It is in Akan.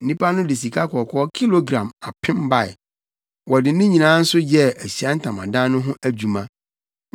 Nnipa no de sikakɔkɔɔ kilogram apem bae. Wɔde ne nyinaa nso yɛɛ Ahyiae Ntamadan no ho adwuma.